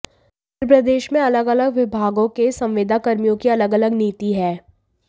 मप्र में अलग अलग विभागों के संविदाकर्मियों की अलग अलग नीति है